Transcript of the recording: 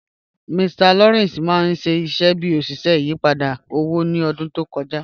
Mr Lawrence mà n ṣiṣẹ̀ bí oṣiṣẹ̀ ìyìpadà owó ni ọ̀dún tó kọja